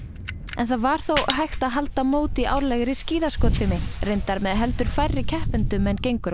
en það var þó hægt að halda mót í árlegri skíðaskotfimi reyndar með heldur færri keppendum en gengur og